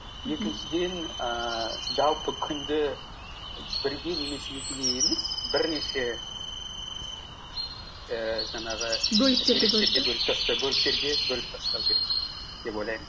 екіншіден ііі жалпы күнді бірге немесе екіге емес бірнеше ііі жаңағы бөліктерге бөліп тастау керек деп ойлаймын